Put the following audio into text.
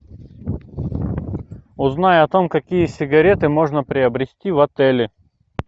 узнай о том какие сигареты можно приобрести в отеле